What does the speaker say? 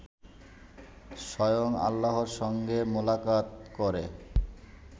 স্বয়ং আল্লাহর সঙ্গে মোলাকাত করে